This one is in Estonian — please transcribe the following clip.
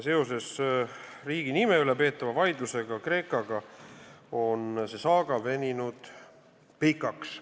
Kreekaga riigi nime üle peetava vaidluse tõttu on see saaga veninud pikaks.